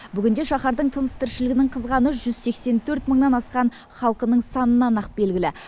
бүгінде шаһардың тыныс тіршілігінің қызғаны жүз сексен төрт мыңнан асқан халқының санынан ақ белгілі